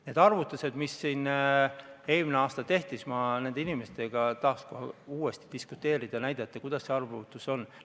Need arvutused, mis siin eelmine aasta tehti – ma nende inimestega tahaks kohe uuesti diskuteerida ja näidata, kuidas see arvutus käib.